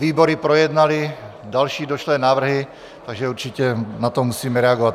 Výbory projednaly další došlé návrhy, takže určitě na to musíme reagovat.